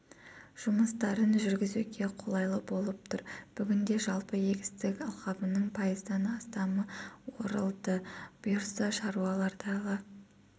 жұмыстарын жүргізуге қолайлы болып тұр бүгінде жалпы егістік алқабының пайыздан астамы орылды бұйыртса шаруалар дала